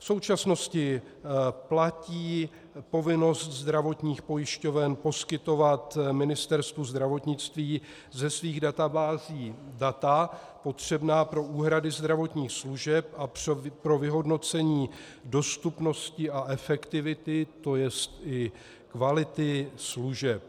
V současnosti platí povinnost zdravotních pojišťoven poskytovat Ministerstvu zdravotnictví ze svých databází data potřebná pro úhrady zdravotních služeb a pro vyhodnocení dostupnosti a efektivity, to je i kvality služeb.